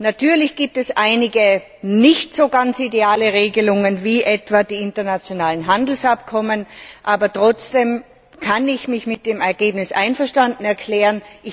Natürlich gibt es einige nicht ganz so ideale Regelungen, wie etwa die internationalen Handelsabkommen, aber trotzdem kann ich mich mit dem Ergebnis einverstanden erklären.